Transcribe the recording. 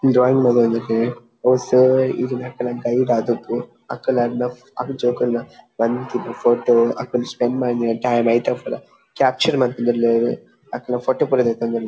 Drawing ಮಂತೊಂದುಲ್ಲೆರ್ ಅವ್ sir ಅಕಲ್ನ ಗೈಡ್ ಆದಿಪ್ಪು ಅಕುಲು ಅರ್ನ ಆ ಜೋಕಲ್ನ ಫೋಟೊ ಅಕುಲು ಸ್ಪೆಂಡ್ ಮಂತಿನ ಟೈಮ್ ಐತ ಪುರ ಕ್ಯಾಪ್ಚರ್ ಮಂತೊಂದುಲ್ಲೆರ್ ಅಕಲ್ನ ಫೋಟೊ ಪುರ ದೆತ್ತೊಂದುಲ್ಲೆರ್.